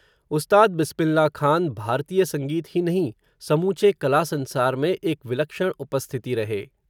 उस्ताद बिस्मिल्लाह खान, भारतीय संगीत ही नहीं, समूचे कला संसार में, एक विलक्षण उपस्थिति रहे